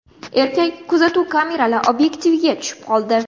Erkak kuzatuv kameralari obyektiviga tushib qoldi.